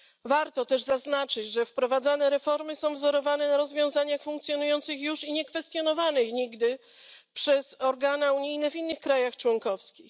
Warto też zaznaczyć, że wprowadzane reformy są wzorowane na rozwiązaniach funkcjonujących już i niekwestionowanych nigdy przez organy unijne w innych krajach członkowskich.